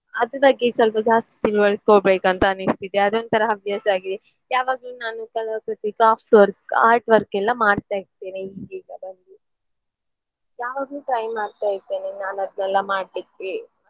ಅದ್ರ್ ಬಗ್ಗೆ ಸ್ವಲ್ಪ ಜಾಸ್ತಿ ತಿಳ್ವಳ್ಕೊಳ್ಬೇಕಂತ ಅನಿಸ್ತಿದೆ ಅದು ಒಂತರ ಹವ್ಯಾಸ ಆಗಿದೆ. ಯಾವಾಗ್ಲೂ ನಾನು ಕಲಾಕೃತಿ craft work, art work ಎಲ್ಲ ಮಾಡ್ತಾ ಇರ್ತೇನೆ ಈಗೀಗ ಬಂದು ಯಾವಾಗ್ಲೂ try ಮಾಡ್ತಾ ಇರ್ತೇನೆ ನಾನ್ ಅದ್ನೇಲ್ಲ ಮಾಡ್ಲಿಕ್ಕೆ.